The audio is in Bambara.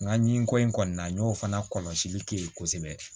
Nka ɲi ko in kɔni na n y'o fana kɔlɔsili kɛ yen kosɛbɛ